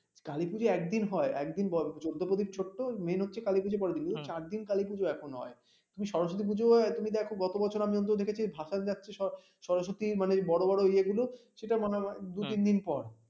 কালী পুজো একদিন হয় একদিন চৌদ্দ প্রদীপ করতো main হচ্ছে কালী পুজো পরের দিন চার দিন কালীপুজো এখন হয় তুমি সরস্বতী পুজো এখন দেখো গত বছর আমি দেখেছি ভাসান যাচ্ছে সরস্বতী মানে বড় বড় ইয়ে গুলো সেটা মনে হয় দু তিনদিন পর